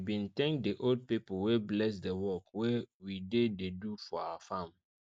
we bin thank the old pipo wey bless the work wey we dey dey do for our farm